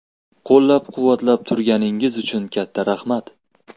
Qo‘llab-quvvatlab turganingiz uchun katta rahmat!